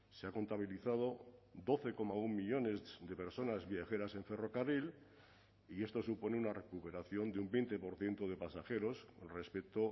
se ha contabilizado doce coma uno millónes de personas viajeras en ferrocarril y esto supone una recuperación de un veinte por ciento de pasajeros respecto